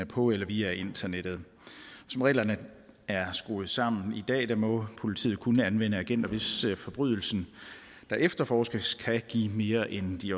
på eller via internettet som reglerne er skruet sammen i dag må politiet kun anvende agenter hvis forbrydelsen der efterforskes kan give mere end de